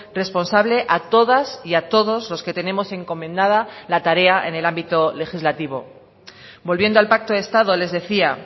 responsable a todas y a todos los que tenemos encomendada la tarea en el ámbito legislativo volviendo al pacto de estado les decía